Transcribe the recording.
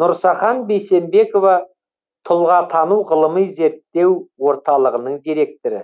нұрсахан бейсенбекова тұлғатану ғылыми зерттеу орталығының директоры